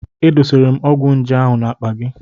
E dosara m ọgwụ nje ahụ n'akpa gị.